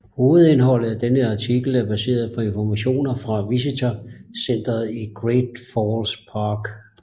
Hovedindholdet af denne artikel er baseret på informationer fra Visitor Centeret i Great Falls Park